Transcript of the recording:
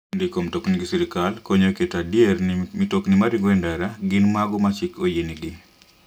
Ndiko mtokni gi sirkal konyo e keto adier ni mtokni maringo e ndara gin mago ma chik oyienegi.